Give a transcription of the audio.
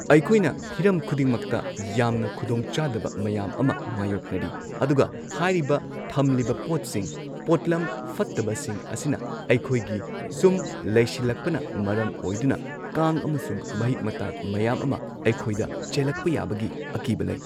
ꯑꯩꯈꯣꯏꯅ ꯍꯤꯔꯝ ꯈꯨꯗꯤꯡꯃꯛꯇ ꯌꯥꯝꯅ ꯈꯨꯗꯣꯡꯆꯥꯗꯕ ꯃꯌꯥꯝ ꯑꯃ ꯃꯥꯏꯌꯣꯛꯅꯔꯤ ꯑꯗꯨꯒ ꯍꯥꯏꯔꯤꯕ ꯊꯝꯂꯤꯕ ꯄꯣꯠꯁꯤꯡ ꯄꯣꯠꯂꯝ ꯐꯠꯇꯕꯁꯤꯡ ꯑꯁꯤꯅ ꯑꯩꯈꯣꯏꯒꯤ ꯁꯨꯝ ꯂꯩꯁꯤꯜꯂꯛꯄꯅ ꯃꯔꯝ ꯑꯣꯏꯗꯨꯅ ꯀꯥꯡ ꯑꯃꯁꯨꯡ ꯃꯍꯤꯛ ꯃꯇꯥꯏ ꯃꯌꯥꯝ ꯑꯃ ꯑꯩꯈꯣꯏꯗ ꯆꯦꯜꯂꯛꯄ ꯌꯥꯕꯒꯤ ꯑꯀꯤꯕ ꯂꯩ꯫